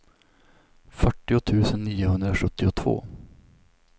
fyrtio tusen niohundrasjuttiotvå